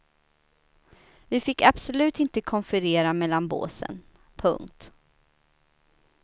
Vi fick absolut inte konferera mellan båsen. punkt